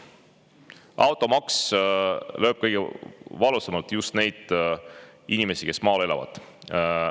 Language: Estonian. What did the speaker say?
Automaks lööb kõige valusamalt just neid inimesi, kes maal elavad.